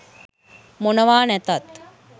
මොනව නැතත්